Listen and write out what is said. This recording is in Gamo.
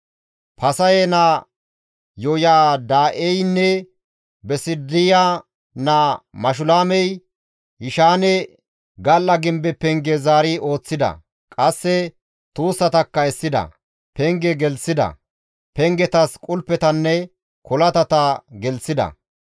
Fasahe naa Yoyada7eynne Besidiya naa Mashulaamey Yishaane gal7a gimbe penge zaari ooththida; qasse tuussatakka essida; penge gelththida; pengetas qulpettanne kolatata gelththida.